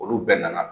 Olu bɛɛ nana